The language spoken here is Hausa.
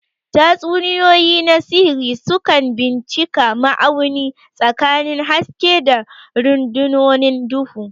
Tatsuniyoyi na sihiri sukan bincika ma'auni tsakanin haske da rundunonin duhu.